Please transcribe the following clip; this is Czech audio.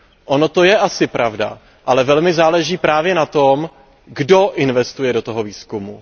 Ono to je asi pravda, ale velmi záleží právě na tom, kdo investuje do výzkumu.